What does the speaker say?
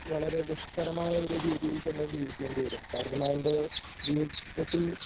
വളര ദുഷ്കരമായ ഒരു രീതിയിൽ തന്നെ ജീവിക്കേണ്ടിവരും കാരണം അവൻ്റെ ജീവിതത്തിൽ